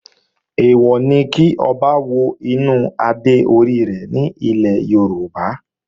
Èèwọ̀ ni kí Ọba wo inú adé orí rẹ̀ ní ilẹ̀ Yorùbá